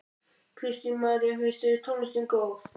Kristín María: Finnst þér tónlistin góð?